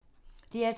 DR2